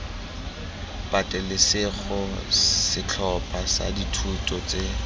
patelesego setlhopha sa dithuto tse